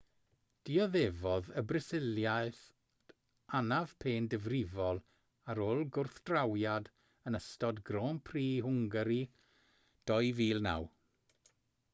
dioddefodd y brasiliad anaf pen difrifol ar ôl gwrthdrawiad yn ystod grand prix hwngari 2009